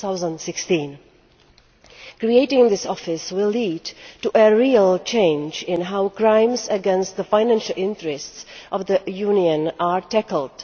2016. Creating this Office will lead to a real change in how crimes against the financial interests of the Union are tackled.